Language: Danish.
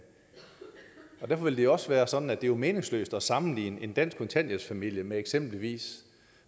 derfor vil det også være sådan at det jo er meningsløst at sammenligne en dansk kontanthjælpsfamilie med eksempelvis